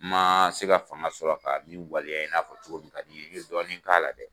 N ma se ka fanga sɔrɔ ka nin waleya, i n'a fɔ cogo min ka di i ye, i ye dɔɔnin k'a la dɛ